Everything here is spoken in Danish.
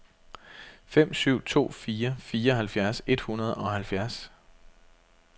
fem syv to fire fireoghalvfjerds et hundrede og halvfjerds